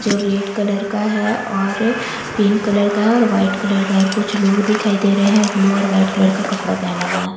जो red colour का है और पिंक कलर का है और वाइट कलर का है और कुछ लोग दिखाई दे रहे हैं ब्लू और वाइट कलर का कपड़ा पेहना हुआ है।